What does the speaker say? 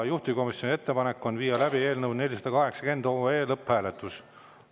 Juhtivkomisjoni ettepanek on viia läbi eelnõu 480 lõpphääletus.